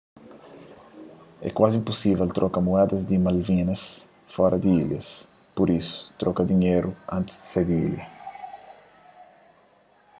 é kuazi inpusível troka mueda di malvinas fora di ilhas pur isu troka dinheru antis di sai di ilha